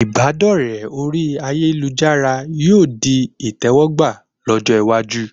Ìbádọ́rẹ orí ayélujára yóò di ìtẹwọ́gbà lọ́jọ́ iwájú